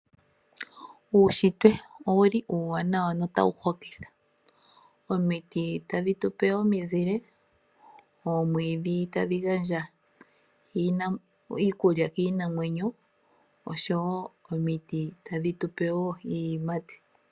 Uushitwe uuwanawa, no tawu hokitha. Omiti tadhi gandja omizile niiyimati kaantu osho wo oomwiidhi tadhi gandja iipalutha kiinamwenyo.